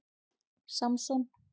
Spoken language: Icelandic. Samson